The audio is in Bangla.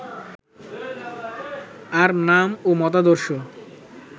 আর নাম ও মতাদর্শ